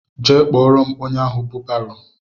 Jee kpọrọ m ónyé ahụ bụ barô!!